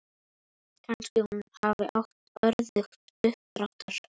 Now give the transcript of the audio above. Kannski hún hafi átt örðugt uppdráttar.